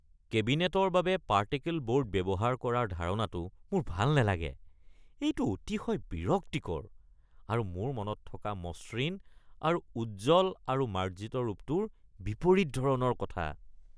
কেবিনেটৰ বাবে particle board ব্যৱহাৰ কৰাৰ ধাৰণাটো মোৰ ভাল নালাগে। এইটো অতিশয় বিৰক্তিকৰ আৰু মোৰ মনত থকা মসৃণ আৰু উজ্জ্বল আৰু মাৰ্জিত ৰূপটোৰ বিপৰীত ধৰণৰ কথা।